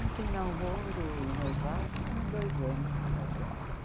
Entre namoro e noivado foram dois anos, casamos.